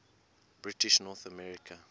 british north america